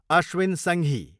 Ashwin Sanghi